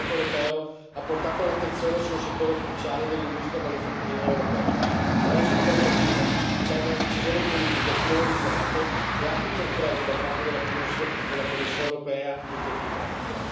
Il Parlamento europeo ha portato l'attenzione su un settore cruciale dell'industria manifatturiera europea, ma adesso bisogna agire, servono decisioni politiche coordinate e atti concreti da parte della Commissione europea in tempi brevi.